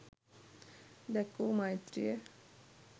දැක්වූ මෛත්‍රිය